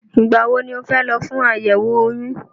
Ìgbà wo ni o fẹ́ lọ fún àyẹ̀wò oyún?